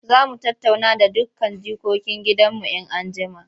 Za mu tattauna da dukkan jikokin gidanmu in an jima.